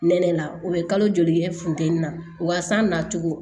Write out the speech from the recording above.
Nɛnɛ la o bɛ kalo joli kɛ funteni na wa san nacogo